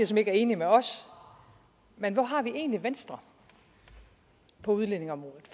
som ikke er enige med os men hvor har vi egentlig venstre på udlændingeområdet